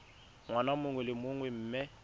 ngwaga mongwe le mongwe mme